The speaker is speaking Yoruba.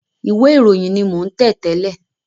Ìwé ìròyìn ni mo ń tẹ̀ tẹ́lẹ̀